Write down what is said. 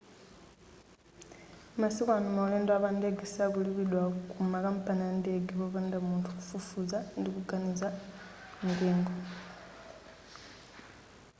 masiku ano maulendo a pandege sakulipidwa ku makampani a ndege popanda munthu kufufuza ndi kufananiza mitengo